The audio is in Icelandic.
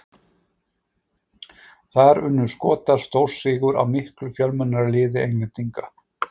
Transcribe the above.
Þar unnu Skotar stórsigur á miklu fjölmennara liði Englendinga.